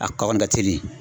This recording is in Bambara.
A kaba nin da teli.